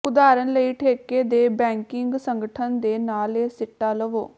ਉਦਾਹਰਨ ਲਈ ਠੇਕੇ ਦੇ ਬੈਕਿੰਗ ਸੰਗਠਨ ਦੇ ਨਾਲ ਇਹ ਸਿੱਟਾ ਲਵੋ